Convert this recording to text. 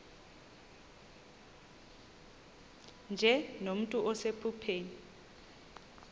nje nomntu osephupheni